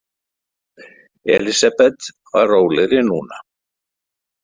Elísabet var rólegri núna.